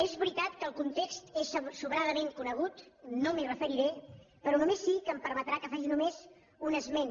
és veritat que el context és sobradament conegut no m’hi referiré però només sí que em permetrà que faci només un esment